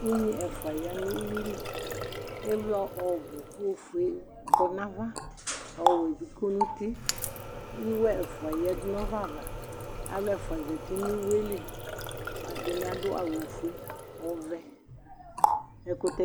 ʊnŋɩ ɛƒʊa aƴanʊ ʊƴʊɩlɩ ɩʋlɔ ɔɓʊ oƒʊe ƙɔ nʊ aʋa ɔwʊɛɓɩƙɔ nʊ ʊtɩ ɩwo ɛƒʊa aƴaɗʊnʊ ɔɓɛaʋa alʊ ɛƒʊa azatɩnʊ ɩwoƴɛlɩ ɛɗɩnɩ aɗʊ awʊ oƒʊe ɛɗɩnɩaɗʊ awʊ ɔʋɛ